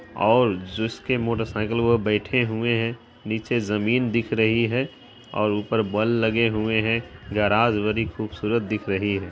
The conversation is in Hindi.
ओर जिसकी मोटर साइकल है वो बेठे हुए है नीचे जमीन दिख रही है और ऊपर बल्ब लगे हुए है गेराज बड़ी खूबसूरत दिख रही है।